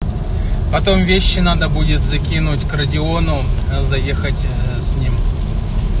потом вещи надо будет закинуть к родиону заехать ээ с ним